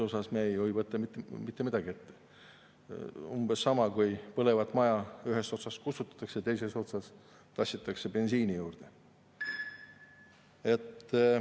See on umbes sama, kui põlevat maja ühest otsast kustutada ja teises otsas tassida bensiini juurde.